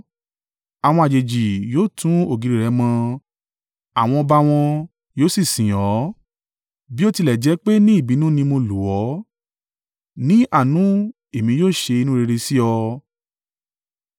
“Àwọn àjèjì yóò tún ògiri rẹ mọ àwọn ọba wọn yóò sì sìn ọ́. Bí ó tilẹ̀ jẹ́ pé ní ìbínú ni mo lù ọ́, ní àánú èmi yóò ṣe inú rere sí ọ.